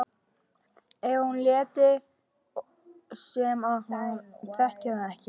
Hvað ef hún léti sem hún þekkti hann ekki?